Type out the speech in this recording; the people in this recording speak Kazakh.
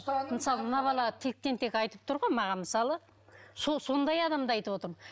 мысалы мына бала тектен тек айтып тұр ғой маған мысалы сол сондай адамды айтып отырмын